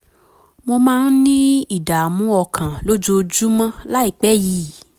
mo máa ń ní ìdààmú ọkàn lójoojúmọ́ láìpẹ́ yìí